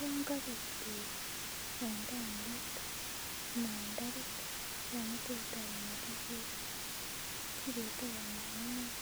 Yon kobek beek en tankit anan en tapit yan itesetai imwetisie kibete komong'unet